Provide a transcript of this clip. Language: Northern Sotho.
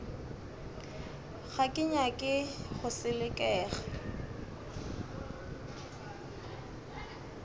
ga ke nyake go selekega